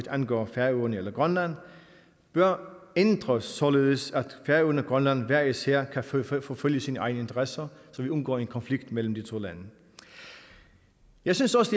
angår færøerne og grønland bør ændres således at færøerne og grønland hver især kan forfølge forfølge sine egne interesser så vi undgår en konflikt mellem de to lande jeg synes også